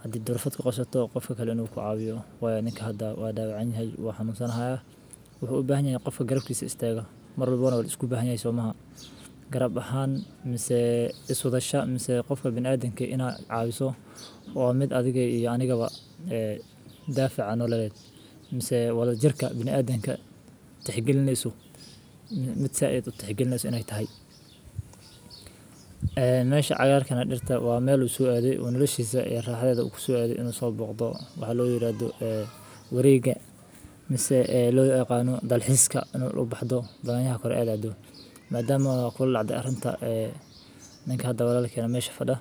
Haddii ruufad ku qorsato qof keliya nuuq caawiyo waaninka hadda waa dhaqan yahay waa xamuunsanahay. Wuxuu u baahan yahay in qofka garoobkisa istaga mar labo isku baxaya soo mahad garab ahaan. Maasee isu dhasha maase qofka bini'aadamke inaa caawiso oo mid adiga iyo aanigaba ee daafaca nololeed. Maase wada jirka bini'aadeemka. Tihiin isu mid sa 'eed u tixgelno inay tahay meesha cayaarka na dhirta waa meel u soo aaday iyo noloshahisa raaxda u ku soo aadey inuu soo booqdo waxaa loo yiraahdo wareegga maase loo yaqaano dalxiiska inuu u baxdo baahan ha korey caleed. Maadaama kula cad arrinta ee ninkan hadda walaalka meesha fadah.